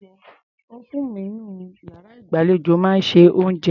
Ófúùnù inú iyàrá ìgbàlejò náà máa ń se oúnjẹ.